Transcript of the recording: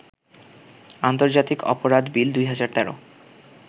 আন্তর্জাতিক অপরাধ বিল ২০১৩